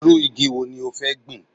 Irú igi wo ní o fẹ́ gbin